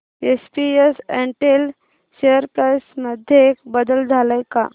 SPS Intel share price मध्ये बदल आलाय का